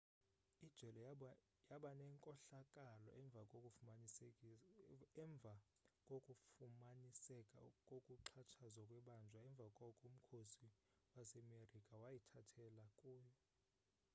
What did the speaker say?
ijele yabanenkohlakalo emva kokufumaniseka kokuxhatshazwa kwebanjwa emva koko umkhosi wasemerika wayithathela kuyo